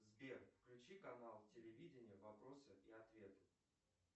сбе включи канал телевидения вопросы и ответы